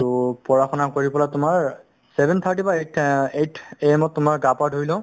ট পঢ়া শুনা কৰি তুমাৰ seven thirty বা eight AM তুমাৰ গা পা ধুই লও